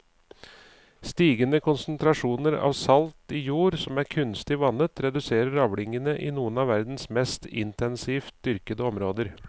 Stigende konsentrasjoner av salt i jord som er kunstig vannet reduserer avlingene i noen av verdens mest intensivt dyrkede områder.